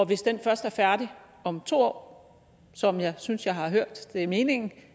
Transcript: hvis den først er færdig om to år som jeg synes jeg har hørt er meningen